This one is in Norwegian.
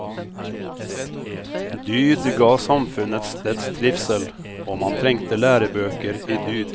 Dyd ga samfunnets dets trivsel, og man trengte lærebøker i dyd.